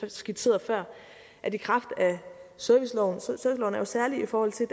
skitserede før serviceloven er jo særlig i forhold til